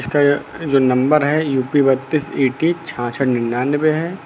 जो नंबर है यू_पी बत्तीस ई_टी छाछट निन्यानबे है।